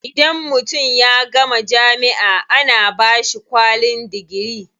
Idan mutum ya gama jami'a ana bashi kwalin digiri.